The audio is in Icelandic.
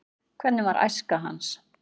hvernig var æska hans